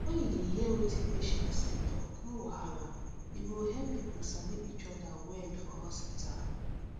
when you dey hear wetin patients dey talk no wahala e go help people sabi each other well for hospital